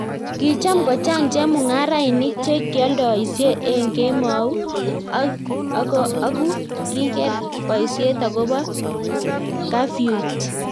kicham kochang' chemung'arenik che kioldoisie eng' kemou ,aku kiker boisiet akobo kafyuit